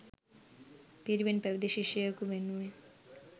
පිරිවෙන් පැවිදි ශිෂ්‍යයකු වෙනුවෙන්